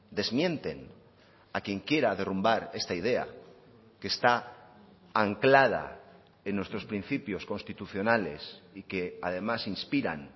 desmienten a quien quiera derrumbar esta idea que está anclada en nuestros principios constitucionales y que además inspiran